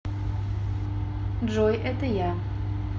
джой это я